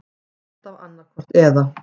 Alltaf annaðhvort eða.